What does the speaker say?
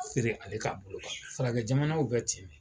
Feere ale ka bolokan faragɛ jamanaw bɛ ten.